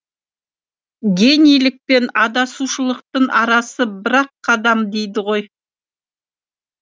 генийлік пен адасушылықтың арасы бір ақ қадам дейді ғой